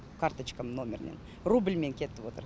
карточкамның нөмірінен рубльмен кетіп отыр